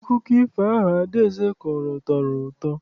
Akụkọ ifo ahụ Adaeze kọrọ tọrọ ụtọ.